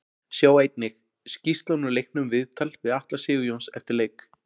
Sjá einnig: Skýrslan úr leiknum Viðtal við Atla Sigurjóns eftir leik